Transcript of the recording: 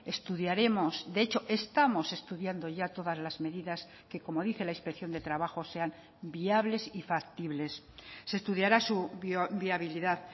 estudiaremos de hecho estamos estudiando ya todas las medidas que como dice la inspección de trabajo sean viables y factibles se estudiará su viabilidad